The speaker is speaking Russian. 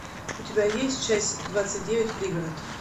у тебя есть часть двадцать девять пригород